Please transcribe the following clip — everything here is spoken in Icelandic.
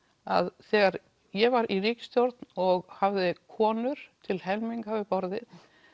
að þegar ég var í ríkisstjórn og hafði konur til helminga við borðið